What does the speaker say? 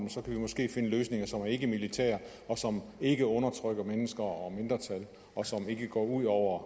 kan vi måske finde løsninger som er ikkemilitære som ikke undertrykker mennesker og mindretal og som ikke går ud over